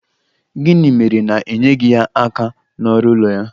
Gịnị mere na i nyeghị ya aka n'ọrụ ụlọ ya?